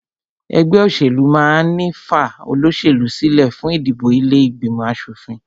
Ẹgbẹ́ òṣèlú máà ń ní fa olóṣèlú sílẹ fún ìdìbò ilé ìgbìmọ̀ aṣòfin